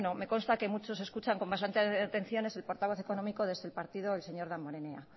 me consta que muchos escuchan con más atención es el portavoz económico desde el partido el señor damborenea